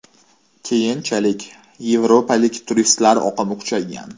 Keyinchalik yevropalik turistlar oqimi kuchaygan.